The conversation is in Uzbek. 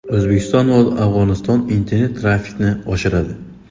O‘zbekiston va Afg‘oniston internet-trafikni oshiradi.